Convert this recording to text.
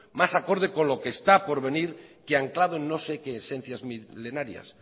más acorde con lo que está por venir que anclado en no sé qué esencia milenarias